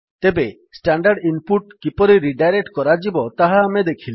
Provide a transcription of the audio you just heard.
ତେବେ standard input କିପରି redirect କରାଯିବ ତାହା ଆମେ ଦେଖିଲେ